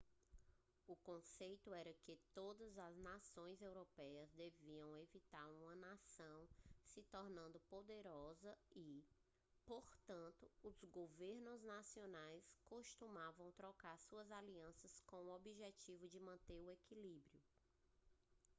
o conceito era que todas as nações europeias deveriam evitar que uma nação se tornasse poderosa e portanto os governos nacionais costumavam trocar suas alianças com o objetivo de manter o equilíbrio